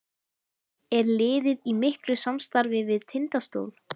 Er liðið í miklu samstarfi við Tindastól?